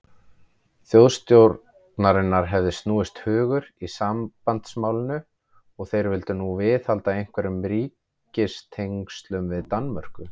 Þjóðstjórnarinnar hefði snúist hugur í sambandsmálinu, og þeir vildu nú viðhalda einhverjum ríkistengslum við Danmörku.